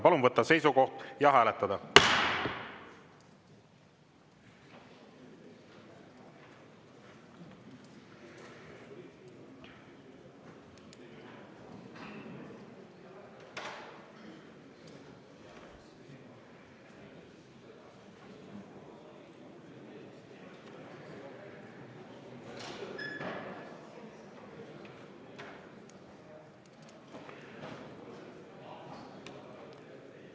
Palun võtta seisukoht ja hääletada!